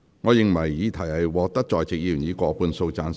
我認為議題獲得在席議員以過半數贊成。